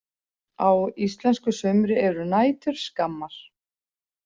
Á íslensku sumri eru nætur skammar.